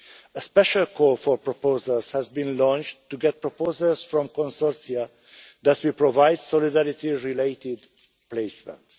A special call for proposals has been launched to get proposals from consortia that will provide solidarity related placements.